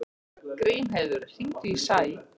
Grímheiður, hringdu í Sæ.